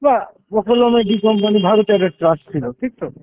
বা এর D-company ভারতের একটা ত্রাস ছিল, ঠিক তো?